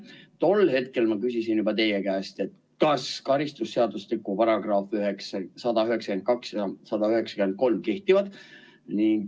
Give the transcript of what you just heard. Tol hetkel ma küsisin teie käest, kas karistusseadustiku paragrahvid 192 ja 193 kehtivad?